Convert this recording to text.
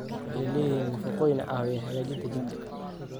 Waxay leeyihiin nafaqooyin caawiya hagaajinta jidhka.